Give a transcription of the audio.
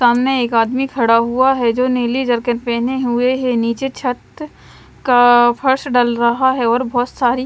सामने एक आदमी खड़ा हुआ है जो नीली जरकन पहने हुए है नीचे छत का फर्श डल रहा है और बहुत सारी--